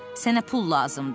Sənə pul lazımdır.